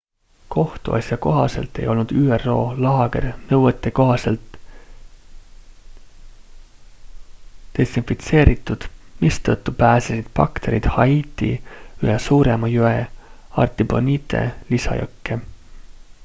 kohtuasja kohaselt ei olnud üro laager nõuetekohaselt desinfitseeritud mistõttu pääsesid bakterid haiti ühe suurema jõe artibonite lisajõkke